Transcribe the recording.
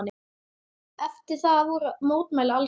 Eftir það voru mótmæli algeng.